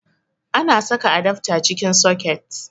Ana saka adafta cikin soket